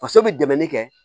Faso bɛ dɛmɛ de kɛ